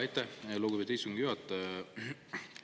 Aitäh, lugupeetud istungi juhataja!